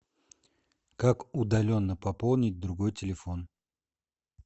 как удаленно пополнить другой телефон